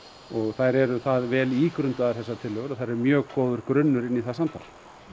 þær eru það vel ígrundaðar þessar tillögur að þær eru mjög góður grunnur inn í það samtal